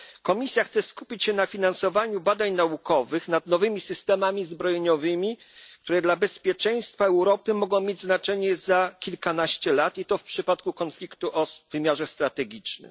Komisja chce skupić się na finansowaniu badań naukowych nad nowymi systemami zbrojeniowymi, które dla bezpieczeństwa Europy mogą mieć znaczenie za kilkanaście lat, i to w przypadku konfliktu o wymiarze strategicznym.